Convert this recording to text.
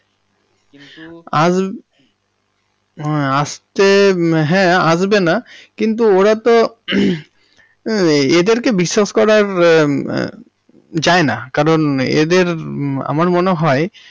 আসবে, আসতে, হ্যাঁ আসবেনা কিন্তু ওরা তো, এদেরকে বিশ্বাস করা মম মম যায় না কারণ এদের আমার মনে হয়।